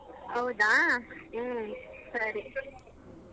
ಹೌದಾ ಸರಿ.